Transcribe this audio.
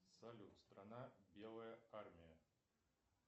салют страна белая армия